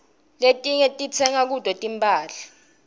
letinyg ditsenga kuto timphahla